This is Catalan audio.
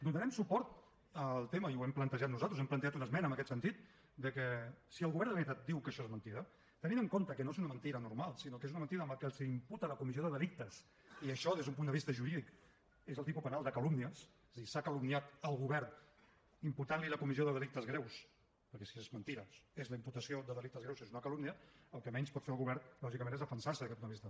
donarem suport al tema i ho hem plantejat nosaltres hem plantejat una esmena en aquest sentit de que si el govern de la generalitat diu que això és mentida tenint en compte que no és una mentida normal sinó que és una mentida amb la que els imputa la comissió de delictes i això des d’un punt de vista jurídic és el tipus penal de calúmnies és a dir s’ha calumniat el govern imputant li la comissió de delictes greus perquè si és mentida la imputació de delictes greus és una calúmnia el que menys pot fer el govern lògicament és defensar se des d’aquest punt de vista